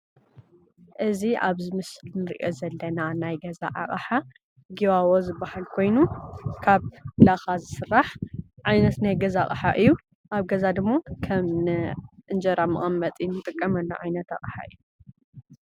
እዚ አብ ምስሊ እንሪኦ ዘለና ናይ ገዛ አቅሓ ጊባቦ ዝበሃል ኮይኑ ካብ ላካ ዝስራሕ ዓይነት ናይ ገዛ አቅሓ እዩ። አብ ገዛ ደሞ ከም እንጀራ መቀመጢ እንጥቀመሉ ዓይነት አቅሓ እዩ።